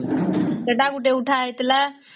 ସେଟ ଗୋଟେ ଉଠା ହେଇଥିଲା